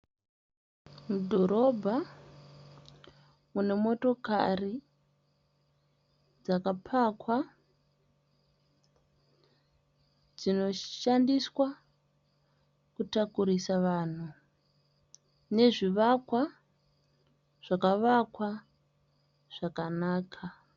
Mudhorobha mune motokari dzakapakwa dzinoshandiswa kutakurisa vanhu nezvivakwa zvakavakwa zvakanaka.